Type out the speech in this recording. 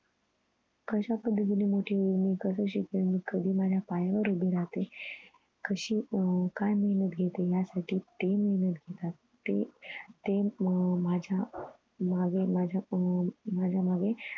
कशा पद्धतीनं मोठी होईल मी कस शिकेन कधी माझ्या पायावर उभी राहते कशी हम्म काय मी mode घेते या साठी ते मेहनत घेतात ते ते अह ते माझ्या मग माझ्या अह माझ्या मागे